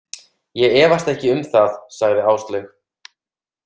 Ég efast ekki um það, sagði Áslaug.